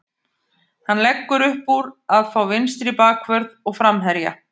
Hann leggur uppúr að fá vinstri bakvörð og framherja.